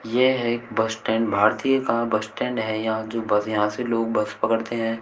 यह एक bus stand भारतीय का बस स्टैंड है यहां जो बस यहां से लोग बस पकड़ते हैं।